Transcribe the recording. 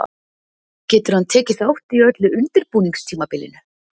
Getur hann tekið þátt í öllu undirbúningstímabilinu?